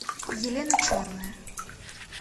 елена черная